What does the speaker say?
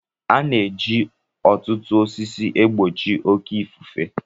A na-eji ọtụtụ osisi e gbochi oke ifufe